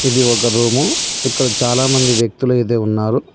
ఇది ఒక రూము ఇక్కడ చాలామంది వ్యక్తులు అయితే ఉన్నారు.